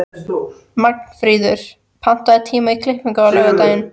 Magnfríður, pantaðu tíma í klippingu á laugardaginn.